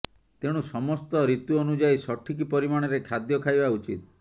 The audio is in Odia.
ତେଣୁ ସମସ୍ତ ଋତୁ ଅନୁଯାୟୀ ସଠିକ ପରିମାଣରେ ଖାଦ୍ୟ ଖାଇବା ଉଚିତ